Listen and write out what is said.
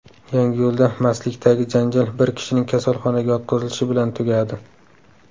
Yangiyo‘lda mastlikdagi janjal bir kishining kasalxonaga yotqizilishi bilan tugadi.